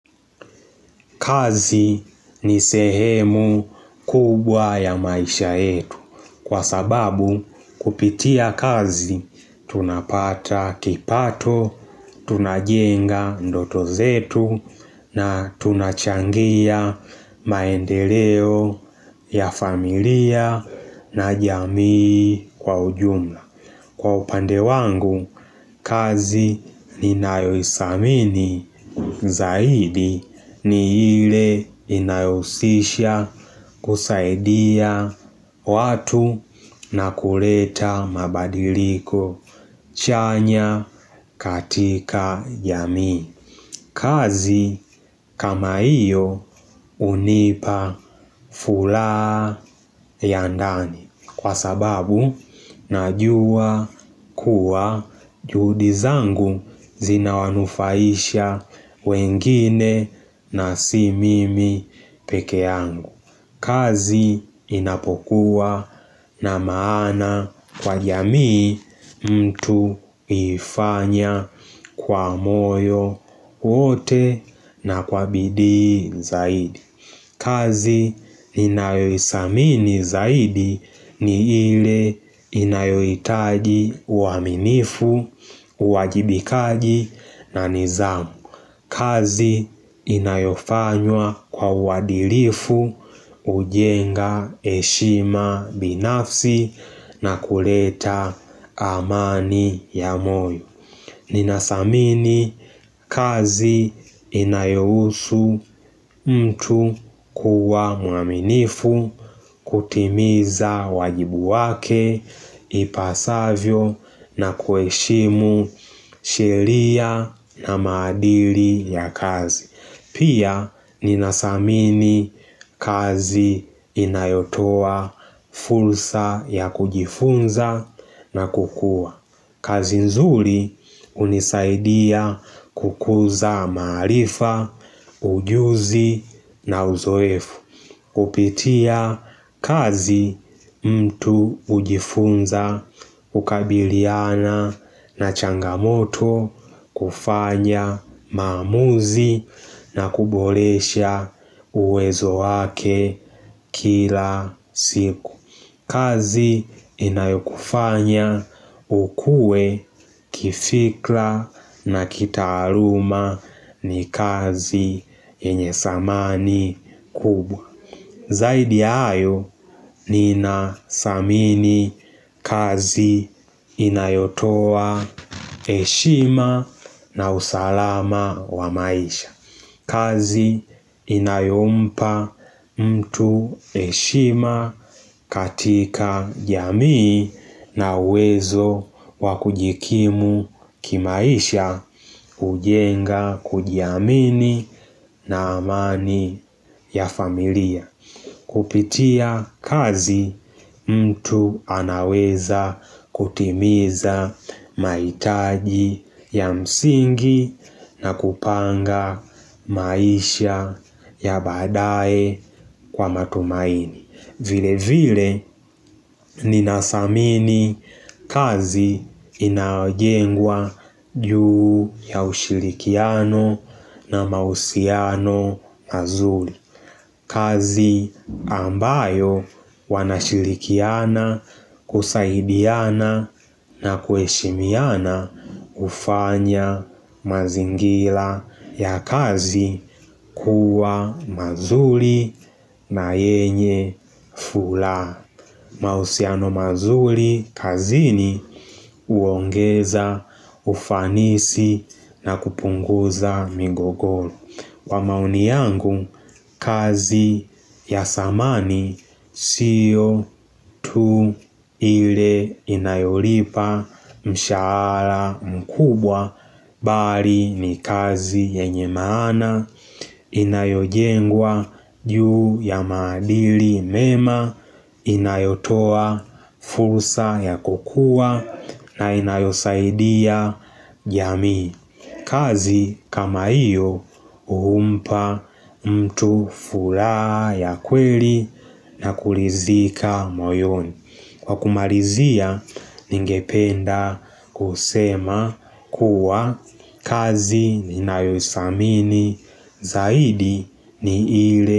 Kazi ni sehemu kubwa ya maisha yetu kwa sababu kupitia kazi tunapata kipato, tunajenga ndoto zetu na tunachangia maendeleo ya familia na jamii kwa ujumla. Kwa upande wangu, kazi ni ninayothamini zaidi ni ile inayohusisha kusaidia watu na kuleta mabadiliko chanya katika jamii. Kazi kama iyo unipa fulaa yandani kwa sababu najua kuwa juhudi zangu zina wanufaisha wengine na si mimi pekeangu. Kazi inapokuwa na maana kwa jamii mtu huifanya kwa moyo wote na kwa bidii zaidi kazi ninayoithamini zaidi ni ile inayohitaji uaminifu, uajibikaji na nidhamu kazi inayofanywa kwa wadilifu hujenga heshima binafsi na kuleta amani ya moyo Ninathamini kazi inayohusu mtu kuwa muaminifu kutimiza wajibu wake ipasavyo na kuheshimu sheria na madili ya kazi. Pia ninathamini kazi inayotoa fursa ya kujifunza na kukua. Kazi nzuri hunisaidia kukuza maarifa, ujuzi na uzoefu kupitia kazi mtu hujifunza kukabiliana na changamoto kufanya maamuzi na kuboresha uwezo wake kila siku kazi inayokufanya ukue kifikra na kitaaluma ni kazi yenye thamani kubwa Zaidi hayo ninathamini kazi inayotoa heshima na usalama wa maisha kazi inayompa mtu heshima katika jamii na uwezo wa kujikimu kimaisha hujenga kujiamini na amani ya familia. Kupitia kazi mtu anaweza kutimiza mahitaji ya msingi na kupanga maisha ya baadae kwa matumaini vile vile ninathamini kazi inayojengwa juu ya ushirikiano na mahusiano mazuri kazi ambayo wanashirikiana, kusaidiana na kuheshimiana hufanya mazingira ya kazi kuwa mazuri na yenye furaha. Mahusiano mazuri kazini huongeza, ufanisi na kupunguza migogoro. Kwa maoni yangu, kazi ya thamani siyo tu ile inayolipa mshahara mkubwa, bali ni kazi yenye maana, inayojengwa juu ya maadili mema, inayotoa fursa ya kukua na inayosaidia jamii. Kazi kama hiyo huumpa mtu furaha ya kweli na kuridhika moyoni. Kwa kumalizia ningependa kusema kuwa kazi ni nayothamini zaidi ni ile.